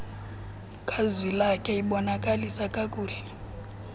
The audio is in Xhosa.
kazwilakhe ibonakalisa kakuhie